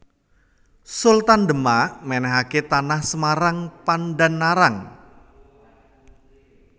Sultan Demak mènèhké Tanah Semarang Pandan Arang